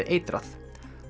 eitrað